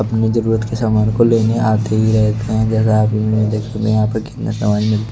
अपनी जरूरत के समान को लेने आते ही रहते हैं कितने समान--